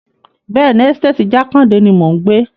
Bẹ́ẹ̀ni, ẹ́sítéètì Jákàndè ni mò ń gbé.